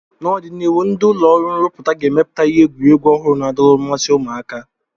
N'ọdịnihu, ndi ụlọ ọrụ nruputa ga-emepụta ihe egwuregwu ọhụrụ na-adọrọ mmasi ụmụaka